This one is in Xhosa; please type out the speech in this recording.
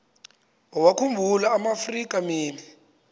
wawakhumbul amaafrika mini